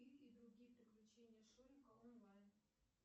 ы и другие приключения шурика онлайн